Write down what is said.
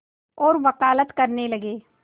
और वक़ालत करने लगे